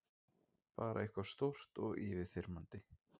Bara eitthvað stórt og yfirþyrmandi.